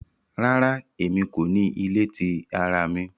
Rara, Emi ko ni ile ti ara mi